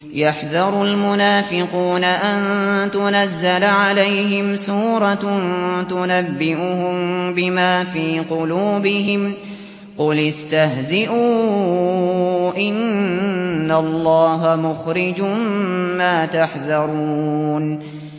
يَحْذَرُ الْمُنَافِقُونَ أَن تُنَزَّلَ عَلَيْهِمْ سُورَةٌ تُنَبِّئُهُم بِمَا فِي قُلُوبِهِمْ ۚ قُلِ اسْتَهْزِئُوا إِنَّ اللَّهَ مُخْرِجٌ مَّا تَحْذَرُونَ